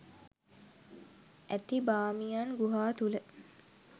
ඇති බාමියන් ගුහා තුළ